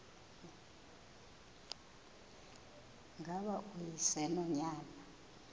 ngaba uyise nonyana